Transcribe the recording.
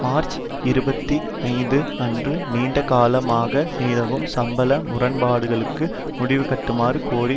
March இருபத்தி ஐந்து அன்று நீண்ட காலமாக நிலவும் சம்பள முரண்பாடுகளுக்கு முடிவுகட்டுமாறு கோரி